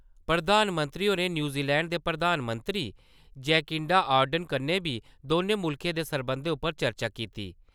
प्रधानमंत्री होरें न्यूजीलैंड दे प्रधानमंत्री जैकिंडा आर्डन कन्नै बी दौनें मुल्खें दे सरबंधें उप्पर चर्चा कीती ।